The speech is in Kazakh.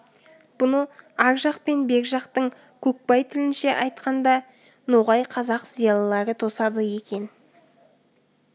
бұны ар жақ пен бер жақтың көкбай тілінше айтқанда ноғай қазақ зиялылары тосады екен